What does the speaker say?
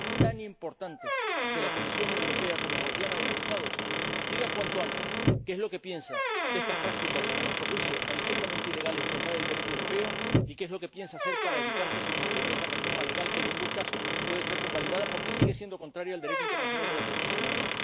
Por eso es tan importante que la Comisión Europea, como guardiana de los Tratados, diga cuanto antes qué es lo que piensa de estas prácticas —a nuestro juicio manifiestamente ilegales y contrarias al Derecho europeo— y qué es lo que piensa hacer para evitar que se consume esa reforma legal, que en ningún caso puede ser convalidada, porque sigue siendo contraria al Derecho internacional en materia de derechos humanos.